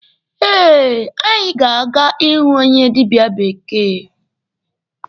Eh, anyị ga-aga ịhụ onye dịbịa bekee.